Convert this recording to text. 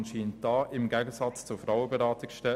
Anscheinend ist die Nachfrage aber da.